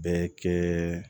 Bɛɛ kɛ